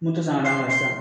N'u tɛ sɔn ka